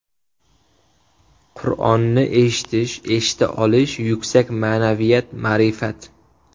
Qur’onni eshitish, eshita olish yuksak ma’naviyat, ma’rifat.